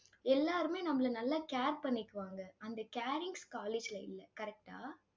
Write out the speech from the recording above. எல்லாருமே நம்மளை நல்லா care பண்ணிக்குவாங்க. அந்த carings college ல இல்ல. correct ஆ?